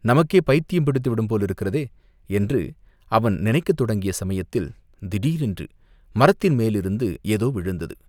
நமக்கே பைத்தியம் பிடித்துவிடும் போலிருக்கிறதே, என்று அவன் நினைக்கத் தொடங்கிய சமயத்தில், திடீரென்று மரத்தின் மேலிருந்து ஏதோ விழுந்தது